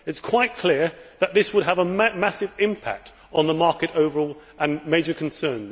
It is quite clear that this would have a massive impact on the market overall and cause major concern.